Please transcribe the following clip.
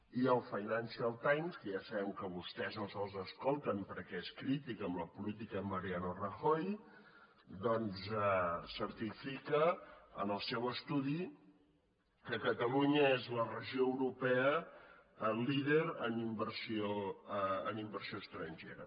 i el financial times que ja sabem que vostès no se’ls escolten perquè és crític amb la política d’en mariano rajoy doncs certifica en el seu estudi que catalunya és la regió europea líder en inversió estrangera